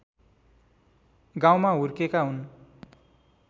गाउँमा हुर्केका हुन्